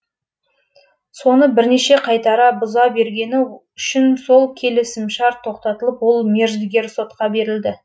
соны бірнеше қайтара бұза бергені үшін сол келісімшарт тоқтатылып ол мердігер сотқа берілді